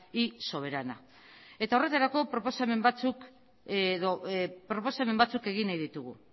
y soberana eta horretarako proposamen batzuk edo proposamen batzuk egin nahi ditugu